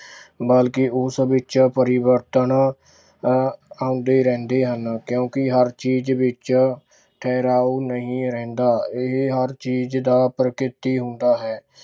ਬਲਕਿ ਉਸ ਵਿੱਚ ਪਰਿਵਰਤਨ ਅਹ ਆਉਂਦੇ ਰਹਿੰਦੇ ਹਨ ਕਿਉਂਕਿ ਹਰ ਚੀਜ਼ ਵਿੱਚ ਠਹਿਰਾਉ ਨਹੀਂ ਰਹਿੰਦਾ, ਇਹ ਹਰ ਚੀਜ਼ ਦਾ ਪ੍ਰਕਿਰਤੀ ਹੁੰਦਾ ਹੈ।